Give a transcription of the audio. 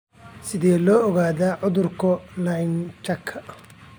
Sidee loo ogaadaa cudurka Lynchka?